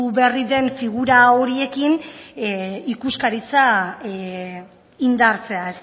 berri den figura horiekin ikuskaritza indartzea